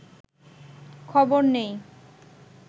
খবর নেই